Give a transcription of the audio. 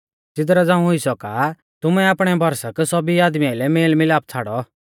ज़िदरा झ़ांऊ हुई सौका तुमै आपणै भरसक सौभी आदमी आइलै मेल मिलाप छ़ाड़ौ